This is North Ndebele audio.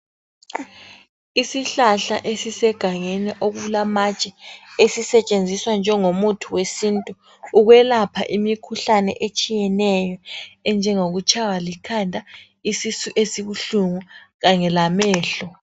Isihlahla esisegangeni okulamatshe esisetshenziswa njengo muthi wesintu, ukwelapha imikhuhlane etshiyeneyo enjengokutshaywa likhanda, isisu esibuhlungu kanye lamehlo.